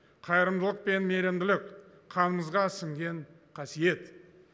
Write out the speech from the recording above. қайырымдылық пен мейірімділік қанымызға сіңген қасиет